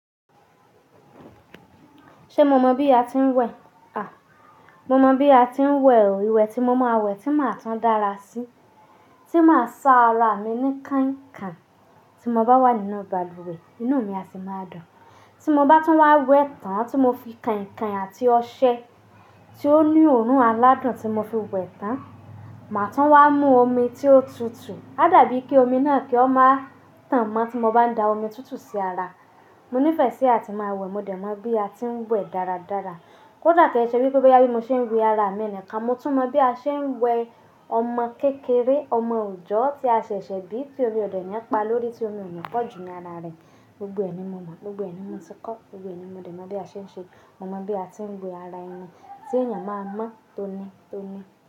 Ṣé mo mọ bí a ti ń wẹ̀? À, mo mọ bí a ti ń wẹ̀ oo. Iwẹ̀ tí mo máa wẹ̀, tí máa tun dára sí. Tí máa sá ara mi ní kainkain, tí mo bá wà nínú balùwẹ̀, inú mi a sì máa dùn. Tí mo bá tún wá wẹ̀ tán, tí mo fi kainkain àti ọṣẹ tí ó ní òórùn aládùn tí mo fi wẹ̀ tán, màá tún wá mú omi tí ó tutù. Á dàbí kí omi náà kí ó máa tàn mọ́ tí mo bá da omi tutù sí ara. Mo nífẹ̀ẹ́ sí àti máa wẹ̀, mo dẹ̀ mọ̀ bí a ti ń wẹ̀ dáradára. Kódà k'ẹ ṣe wipe boya bí mo ṣe ń wẹ ara mi nìkan, mo tún mọ bí a ṣe ń wẹ ọmọ kékeré, ọmọ òòjọ́ tí a ṣẹ̀ṣẹ̀ bí tí omi ò dẹ̀ ní pa lórí, tí omi ò ní pọ̀ jù ní ara rẹ̀. Gbogbo ẹ̀ ni mo mọ̀, gbogbo ẹ̀ ni mo ti kọ́, gbogbo ẹ̀ ni mo dẹ̀ mọ̀ bí a ṣe ń ṣe. Mo mọ bí a ti ń wẹ ara ẹni tí ènìyàn máa mọ́, tóní tóní.